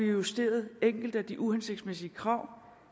justeret enkelte af de uhensigtsmæssige krav